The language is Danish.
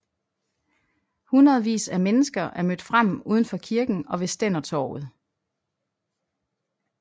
Hundredvis af mennesker er mødt frem udenfor kirken og ved Stændertorvet